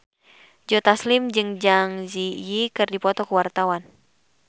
Joe Taslim jeung Zang Zi Yi keur dipoto ku wartawan